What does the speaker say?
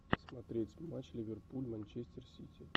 смотреть матч ливерпуль манчестер сити